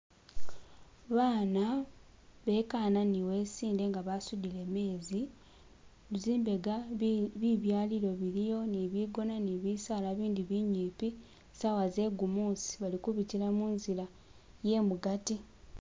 Baana bekana ni wesinde nga basudile meezi zimbega bibyalilo biliyo ni bigona ni bisaala bindi binyipi sawa zegumusi bali kubitila munzila yemugati.